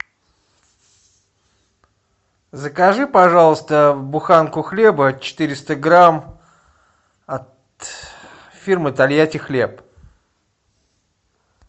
закажи пожалуйста буханку хлеба четыреста грамм от фирмы тольятти хлеб